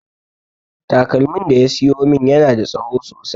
Takalmin da ya siyo min yana da tsaho sosai